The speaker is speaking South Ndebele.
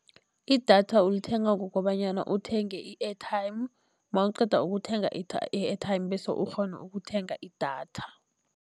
Idatha ulithenga ngokobanyana uthenge i-airtime mawuqeda ukuthenga i-airtime bese ukghone ukuthenga idatha.